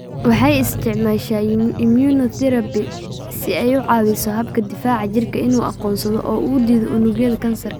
Waxay isticmaashaa immunotherapy si ay uga caawiso habka difaaca jirka inuu aqoonsado oo uu diido unugyada kansarka.